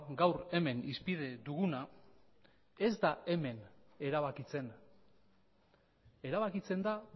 gaur hemen hizpide duguna ez da hemen erabakitzen erabakitzen da